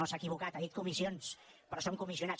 s’ha equivocat ha dit comissions però són comissionats